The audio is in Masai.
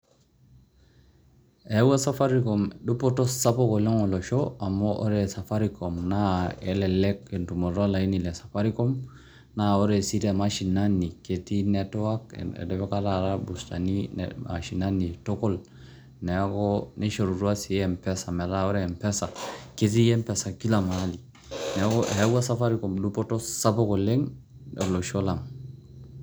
Eyauwa safaricom dupoto sapuk oleng' olosho amu ore safaricom naa elelek entumoto olaini le safaricom, naa ore sii te mashinani, ketii network etipika taata irbustani mashinani tukul, neeku nishorutua sii mpesa. Metaa ore mpesa, ketii mpesa kila mahali, neeku eyaua safricom dupoto sapuk oleng' olosho lang'.